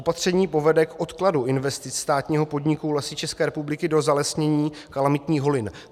Opatření povede k odkladu investic státního podniku Lesy České republiky do zalesnění kalamitních holin.